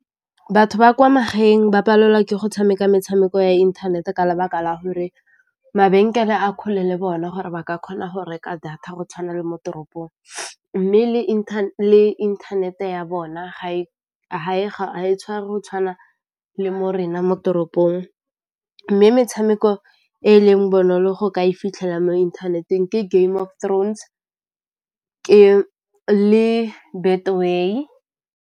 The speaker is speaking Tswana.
Batho ba kwa magaeng ba palelwa ke go tshameka metshameko ya inthanete ka lebaka la gore mabenkele a kgole le bona gore ba ka kgona go reka data go tshwana le mo toropong, mme le inthanete ya bona ga e tshwara go tshwana le mo rena mo toropong, mme metshameko e e leng bonolo go ka e fitlhela mo inthanete-eng ke Game of Thrones, le Betway.